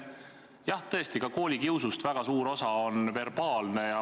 Jah, tõesti ka koolikiusust väga suur osa on verbaalne.